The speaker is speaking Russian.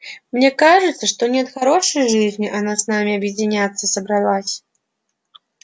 мне кажется не от хорошей жизни она с нами объединяться собрались